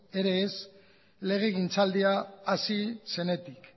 ere ez legegintzaldia hasi zenetik